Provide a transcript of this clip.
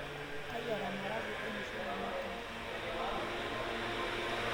Teyeara marangwe olmushele matam